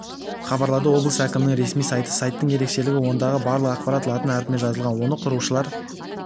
хабарлады облыс әкімінің ресми сайты сайттың ерекшелігі ондағы барлық ақпарат латын әрпімен жазылған оны құрушылар